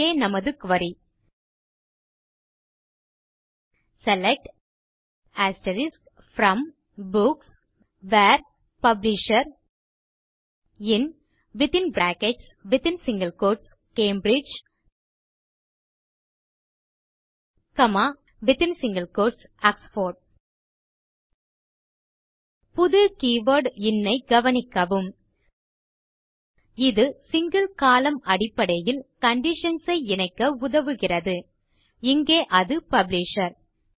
இங்கே நமது query select from books where publisher in Cambridge Oxford புது கீவர்ட் இன் ஐ கவனிக்கவும் இது சிங்கில் கோலம்ன் அடிப்படையில் கண்டிஷன்ஸ் ஐ இணைக்க உதவுகிறது இங்கே அது பப்ளிஷர்